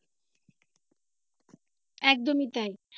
একদমই তাই।